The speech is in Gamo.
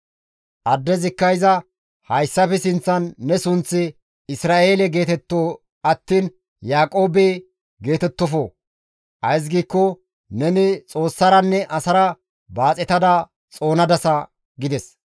Addezikka iza, «Hayssafe sinththan ne sunththi Isra7eele geetetto attiin Yaaqoobe geetettofo; ays giikko neni Xoossaranne asara baaxetada xoonadasa» gides.